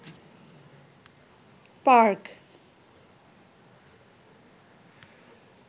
park